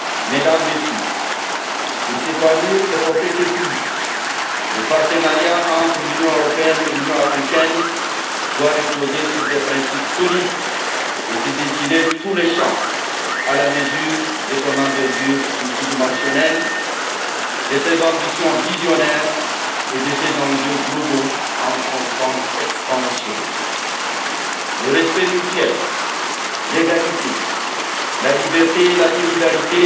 Mesdames, Messieurs, pour s'épanouir et porter ses fruits, le partenariat entre l'Union européenne et l'Union Africaine doit reposer sur des principes solides et dessiner tous les champs à la mesure de son envergure multidimensionnelle, de ses ambitions visionnaires et de ses enjeux globaux, en constante extension. Le respect mutuel, l'égalité, la liberté et la solidarité